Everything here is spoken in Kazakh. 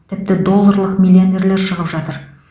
тіпті долларлық миллионерлер шығып жатыр